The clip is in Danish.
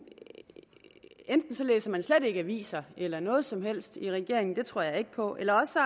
læser man slet ikke aviser eller noget som helst i regeringen det tror jeg ikke på eller også